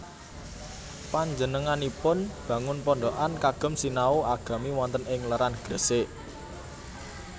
Panjenenganipun mbangun pondokan kagem sinau agami wonten ing Leran Gresik